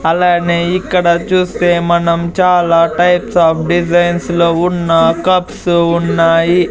అలానే ఇక్కడ చూస్తే మనం చాలా టైప్స్ ఆఫ్ డిజైన్స్ లో ఉన్నా కప్స్ ఉన్నాయి.